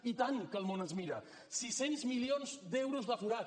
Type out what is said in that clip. i tant que el món ens mira sis cents milions d’euros de forat